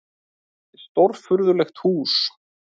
Þetta var stórfurðulegt hús.